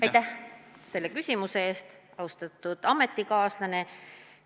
Aitäh selle küsimuse eest, austatud ametikaaslane!